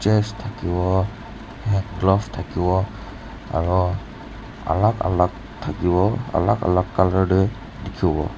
chees thaki bo glove thaki bo aru alag alag thaki bo alag alag colour te dekhi bo.